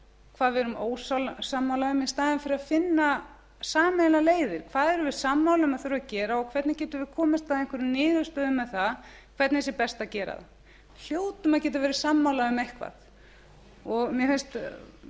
hvað við erum ósammála um í staðinn fyrir að finna sameiginlegar leiðir hvað erum við sammála um að þurfi að gera og hvernig getum við komist að einhverri niðurstöðu með það hvernig það sé best að gera það við hljótum að geta verið sammála um eitthvað mér finnst